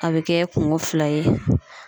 A be kɛ kungo fila ye.